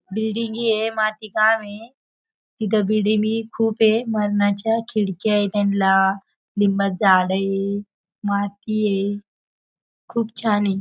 बिल्डिंगे आहे. माती काम आहे. इथे बिल्डिंगे खूप ये. मरणाच्या खिडक्या आहेत त्यांला. लिंबाचं झाड हे. माती हे. खूप छान हे.